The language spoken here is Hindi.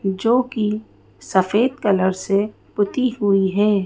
जो कि सफेद कलर से पुती हुई है।